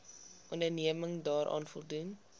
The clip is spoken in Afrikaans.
onderneming daaraan voldoen